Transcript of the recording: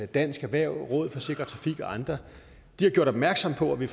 dansk erhverv rådet for sikker trafik og andre har gjort opmærksom på at vi